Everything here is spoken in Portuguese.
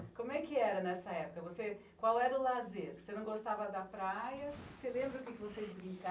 Como é que era nessa época? Você, qual era o lazer? Você lembra o que vocês brin?